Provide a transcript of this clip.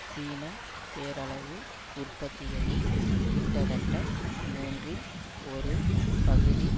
சீன பேரளவு உற்பத்திகளில் கிட்டத்தட்ட மூன்றில் ஒரு பகுதி